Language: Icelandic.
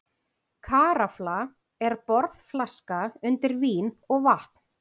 Karafla er borðflaska undir vín eða vatn.